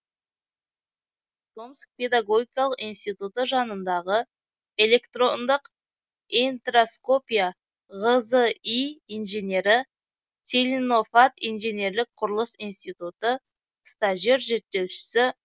томск педогогикалық институты жанындағы электроңдык интроскопия ғзи инженері целинофад инженерлік құрылыс институты стажер зерттеушісі